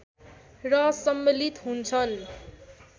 र सम्मिलित हुन्छन्